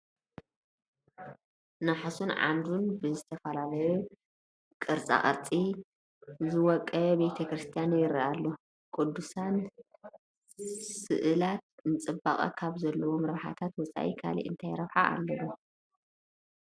ናሕሱን ዓምዱን ብዝተፈላለዩ ቅርፃ ቅርፂ ዝወቀበ ቤተ ክርስቲያን ይርአ ኣሎ፡፡ ቅዱሳን ስእላት ንፅባቐ ካብ ዘለዎም ረብሓ ወፃኢ ካልእ እንታይ ረብሓ ኣለዎም?